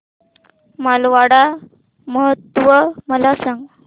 मारवाड महोत्सव मला सांग